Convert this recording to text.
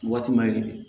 Waati ma ye